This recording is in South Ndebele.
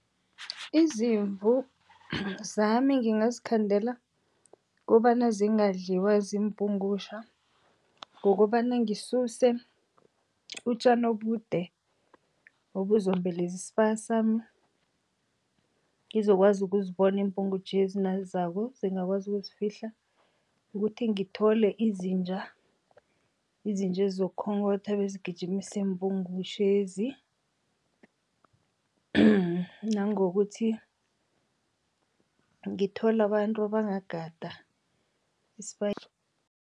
Izimvu zami ngingazikhandela kobana zingadliwa ziimpugutjha ngokobana ngisuse utjani obude obuzombeleze isibaya sami, ngizokwazi ukuzibona iimbungutjhezi nazizako zingakwazi ukuzifihla. Ukuthi ngithole izinja, izinja ezizokukhonkhotha bezigijimise iimpugutjhezi. Nangokuthi ngithole abantu abangagada